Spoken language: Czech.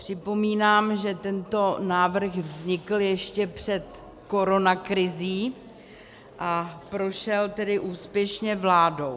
Připomínám, že tento návrh vznikl ještě před koronakrizí, a prošel tedy úspěšně vládou.